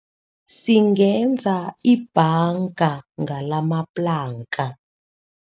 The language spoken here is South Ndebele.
Singenza ibhanga ngalamaplanka.